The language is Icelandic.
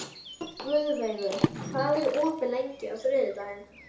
þessum mjög til Heklu og Snæfellsjökuls.